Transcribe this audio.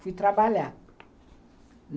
Fui trabalhar.